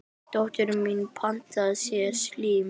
Dóttir mín pantaði sér slím.